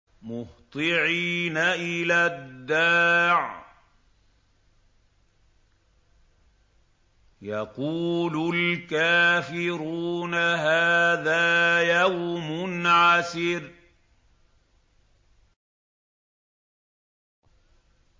مُّهْطِعِينَ إِلَى الدَّاعِ ۖ يَقُولُ الْكَافِرُونَ هَٰذَا يَوْمٌ عَسِرٌ